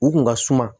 U kun ka suma